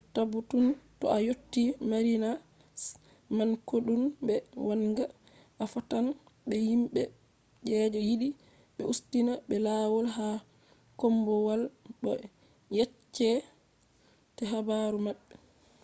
tabbutunu to a yotii marinas man kodume wangan. a fottan be himbe je yidi be ustina be lawol ha kombowal bo be yecce te habaru mabbe